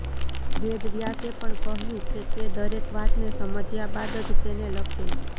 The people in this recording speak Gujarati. વેદવ્યાસે પણ કહ્યું કે તે દરેક વાતને સમજ્યા બાદ જ તેને લખે